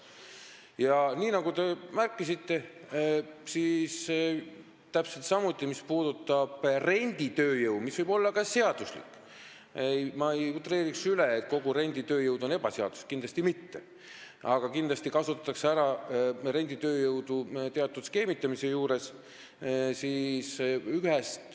Ja nagu te märkisite, kindlasti kasutatakse renditööjõudu – mis võib olla ka seaduslik, st ma ei utreeriks üle, nagu kogu renditööjõud oleks ebaseaduslik – teatud skeemitamise juures ära.